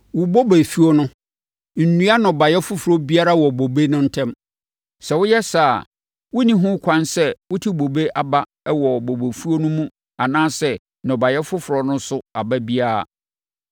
Wo bobefuo no, nnua nnɔbaeɛ foforɔ biara wɔ bobe no ntam. Sɛ woyɛ saa a, wonni ho kwan sɛ wote bobe aba wɔ bobefuo no mu anaasɛ nnɔbaeɛ foforɔ no so aba biara.